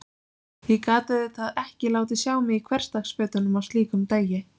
Ég gat auðvitað ekki látið sjá mig í hversdagsfötunum á slíkum degi.